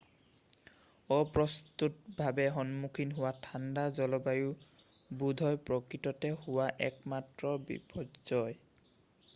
অপ্ৰস্তুতভাৱে সন্মুখীন হোৱা ঠাণ্ডা জলবায়ু বোধহয় প্ৰকৃততে হোৱা একমাত্ৰ বিপৰ্যয়